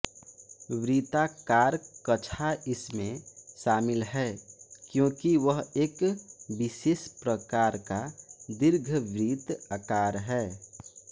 वृत्ताकार कक्षा इसमें शामिल है क्योंकि वह एक विशेष प्रकार का दीर्घवृत्त आकार है